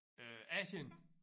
Øh Asien?